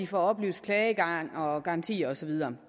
får oplyst klagegang og garantier og så videre